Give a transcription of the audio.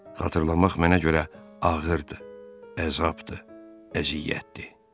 Xatırlamaq mənə görə ağırdır, əzabdır, əziyyətdir.